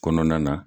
Kɔnɔna na